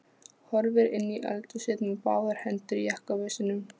Horfir inn í eldhúsið með báðar hendur í jakkavösunum.